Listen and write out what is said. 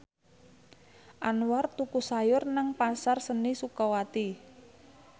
Anwar tuku sayur nang Pasar Seni Sukawati